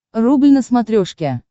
рубль на смотрешке